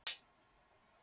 En það er nú örðu nær.